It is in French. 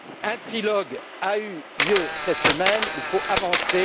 Un trilogue a eu lieu cette semaine il faut avancer.